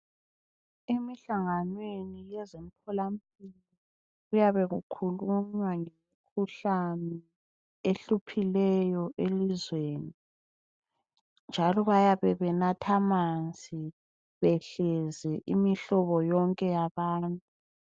Emihlanganweni yezemtholampilo kuyabe kukhulunywa ngemikhuhlane ehluphileyo elizweni njalo bayabe benatha amanzi behlezi imihlobo yonke yabantu.